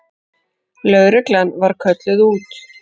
Lögreglan var kölluð út.